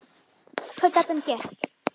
Hvað gat hann gert?